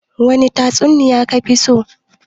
wani tatsuniya kafiso?